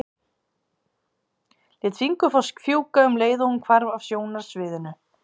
Lét fingurkoss fjúka um leið og hún hvarf af sjónarsviðinu.